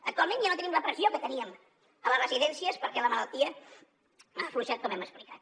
actualment ja no tenim la pressió que teníem a les residències perquè la malaltia ha afluixat com hem explicat